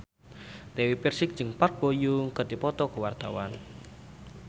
Dewi Persik jeung Park Bo Yung keur dipoto ku wartawan